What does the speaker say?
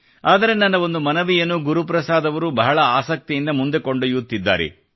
ಆದರೆ ನನ್ನ ಒಂದು ಮನವಿಯನ್ನು ಗುರುಪ್ರಸಾದ್ ಅವರು ಬಹಳ ಆಸಕ್ತಿಯಿಂದ ಮುಂದೆ ಕೊಂಡೊಯ್ಯುತ್ತಿದ್ದಾರೆ